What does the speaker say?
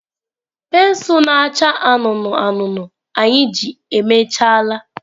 Pensụl na-acha anụnụ anụnụ anyị ji emechaala.